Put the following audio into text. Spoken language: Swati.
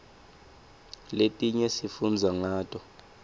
letinye sifundza ngato